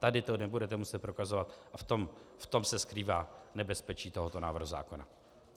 Tady to nebudete muset prokazovat a v tom se skrývá nebezpečí tohoto návrhu zákona.